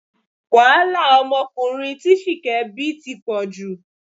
Wàhálà ọmọkùnrin tí Ṣìkẹ́ bí ti pọ̀ jù